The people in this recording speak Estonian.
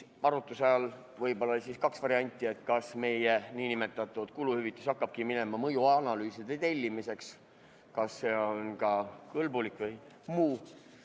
Arutluse all oli kaks varianti: kas meie nn kuluhüvitis hakkabki minema mõjuanalüüside tellimiseks ja kas see on ka kõlbulik, või lahendatakse olukord muul moel?